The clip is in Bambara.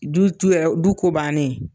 Du t'u yɛrɛ , du ko bannen ye.